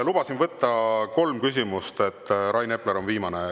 Lubasin võtta kolm küsimust, Rain Epler on viimane.